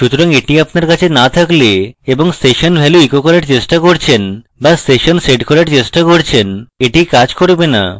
সুতরাং এটি আপনার কাছে so থাকলে এবং আপনি session value echo করার চেষ্টা করছেন so আপনি session set করার চেষ্টা করছেন এটি কাজ করবে so